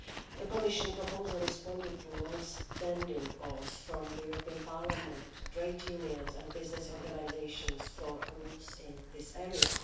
The Commission proposal responded to long standing calls from the European Parliament, trade unions and business organisations for rules in this area.